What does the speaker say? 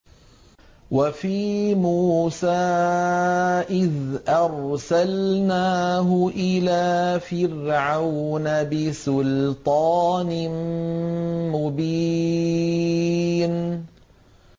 وَفِي مُوسَىٰ إِذْ أَرْسَلْنَاهُ إِلَىٰ فِرْعَوْنَ بِسُلْطَانٍ مُّبِينٍ